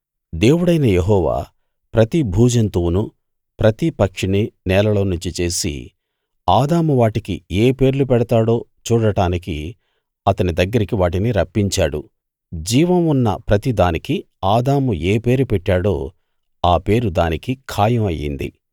దేవుడైన యెహోవా ప్రతి భూజంతువునూ ప్రతి పక్షినీ నేలలోనుంచి చేసి ఆదాము వాటికి ఏ పేర్లు పెడతాడో చూడడానికి అతని దగ్గరికి వాటిని రప్పించాడు జీవం ఉన్న ప్రతిదానికీ ఆదాము ఏ పేరు పెట్టాడో ఆ పేరు దానికి ఖాయం అయ్యింది